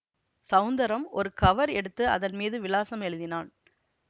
ஸௌந்தரம் ஒரு கவர் எடுத்து அதன் மீது விலாசம் எழுதினான்